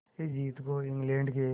इस जीत को इंग्लैंड के